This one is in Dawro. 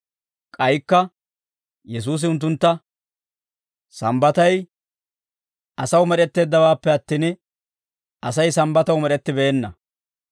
K'aykka Yesuusi unttuntta, «Sambbatay asaw med'etteeddawaappe attin, Asay Sambbataw med'ettibeenna.